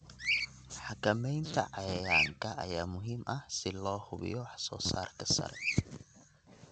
Xakamaynta cayayaanka ayaa muhiim ah si loo hubiyo wax soo saarka sare.